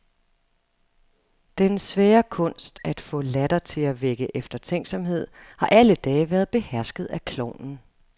Den svære kunst at få latter til at vække eftertænksomhed har alle dage været behersket af klovnen.